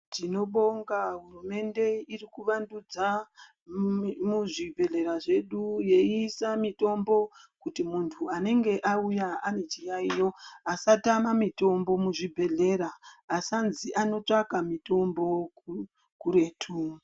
Tinobonga hurumende iri kuvandudza, mumimuzvibhedhlera zvedu, yeiisa mitombo kuti vantu vanenge vauya ane chiyaiyo asatama mitombo muchibhedhlera, asanzi anotsvaka mitombo ku kuretu.